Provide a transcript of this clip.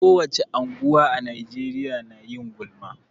Ko wace unguwa a Najeriya na yin gulma.